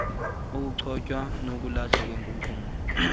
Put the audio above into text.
ukucocwa nokulahlwa kwenkunkuma